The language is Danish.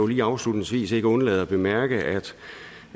lige afslutningsvis ikke undlade at bemærke